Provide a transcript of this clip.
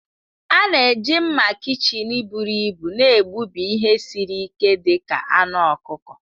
A na-eji mma kichin buru ibu na-egbubi ihe siri ike dị ka anụ ọkụkọ.